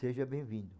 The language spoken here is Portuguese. Seja bem-vindo.